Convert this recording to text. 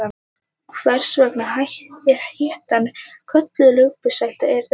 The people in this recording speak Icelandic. Hvers vegna hettan er kölluð lambhúshetta er ekki að fullu vitað.